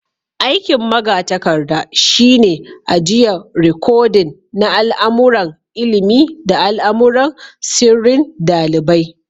Aiki'n magatarkada shine ajian rikodin na al'amuran ilimi da al'amuran sirrin dalibai.